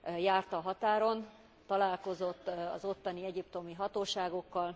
Járt a határon, találkozott az ottani egyiptomi hatóságokkal.